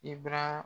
I b'a